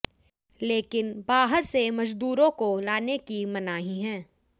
लेकिन बाहर से मजदूरों को लाने की मनाही है